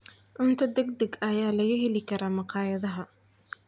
Cunto degdeg ah ayaa laga heli karaa makhaayadaha.